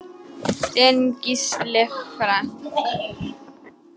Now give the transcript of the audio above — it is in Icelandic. Þinn Gísli Frank.